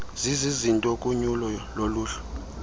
zizizinto kunyuso loluhlu